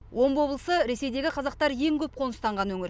омбы облысы ресейдегі қазақтар ең көп қоныстанған өңір